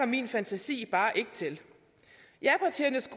min fantasi bare ikke til japartiernes